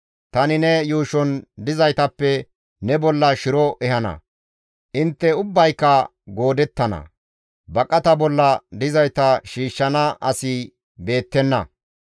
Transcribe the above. Tani ne yuushon dizaytappe ne bolla shiro ehana; intte ubbayka goodettana; baqata bolla dizayta shiishshana asi beettenna.